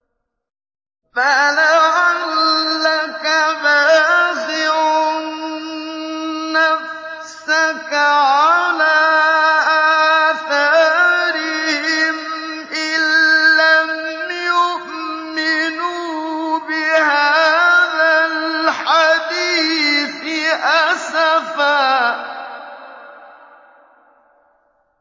فَلَعَلَّكَ بَاخِعٌ نَّفْسَكَ عَلَىٰ آثَارِهِمْ إِن لَّمْ يُؤْمِنُوا بِهَٰذَا الْحَدِيثِ أَسَفًا